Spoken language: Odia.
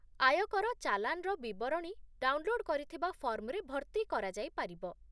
ଆୟକର ଚାଲାଣ୍‌ର ବିବରଣୀ ଡାଉନଲୋଡ୍ କରିଥିବା ଫର୍ମରେ ଭର୍ତ୍ତି କରାଯାଇପାରିବ